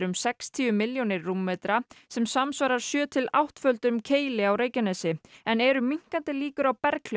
sextíu milljónir rúmmetra sem samsvarar sjö til áttföldum Keili á Reykjanesi en eru minnkandi líkur á